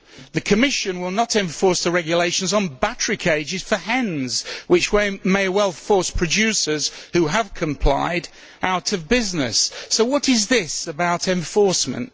The Commission will not enforce the regulations on battery cages for hens, which may well force producers who have complied out of business. So what is this about enforcement?